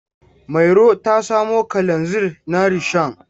Mairo ta samo kalanzir na rishon.